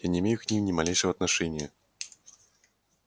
я не имею к ним ни малейшего отношения